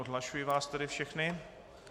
Odhlašuji vás tedy všechny.